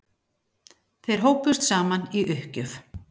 Þeir hópuðust saman í uppgjöf.